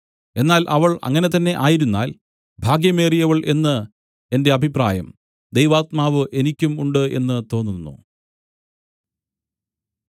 എന്നാൽ അവൾ അങ്ങനെ തന്നെ ആയിരുന്നാൽ ഭാഗ്യമേറിയവൾ എന്ന് എന്റെ അഭിപ്രായം ദൈവാത്മാവ് എനിക്കും ഉണ്ട് എന്ന് തോന്നുന്നു